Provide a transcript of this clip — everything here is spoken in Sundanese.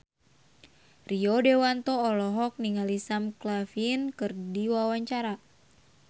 Rio Dewanto olohok ningali Sam Claflin keur diwawancara